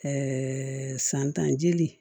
san tan jeli